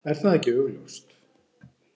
Er það ekki augljóst?